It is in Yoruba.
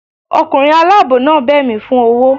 Ọkunrin alabọ naa bẹ mí fun ọwọ